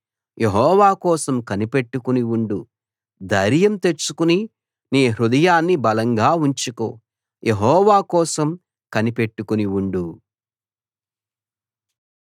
యెహోవా కోసం కనిపెట్టుకుని ఉండు ధైర్యం తెచ్చుకుని నీ హృదయాన్ని బలంగా ఉంచుకో యెహోవా కోసం కనిపెట్టుకుని ఉండు